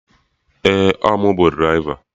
Ee, ọ mụ bụ draịva